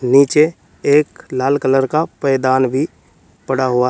नीचे एक लाल कलर का पायदान भी पड़ा हुआ है।